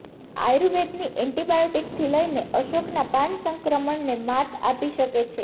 આયુર્વેદની એન્ટીબાયોટિકથી લઇને અશોકના પાન સંક્રમણને માત આપી શકે છે